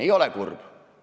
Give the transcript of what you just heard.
Ei ole kurb!